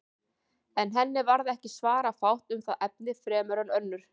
En henni varð ekki svara fátt um það efni fremur en önnur.